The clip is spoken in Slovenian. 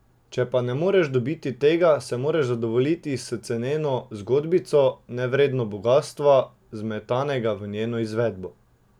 Če pa ne moreš dobiti tega, se moraš zadovoljiti s ceneno zgodbico, nevredno bogastva, zmetanega v njeno izvedbo.